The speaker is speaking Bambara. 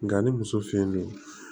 Nga ni muso finen don